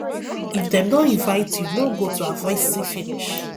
if dem no invite you no go to avoid see finish